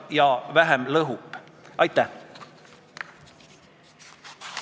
Juba selle põhimõtte pärast, et füüsilisele isikule saab teha ettekirjutuse, mille alusel tal tuleks maksta 6400 eurot.